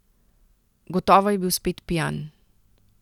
Gotovo je bil spet pijan.